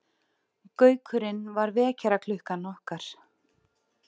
Gaukurinn var vekjaraklukkan okkar.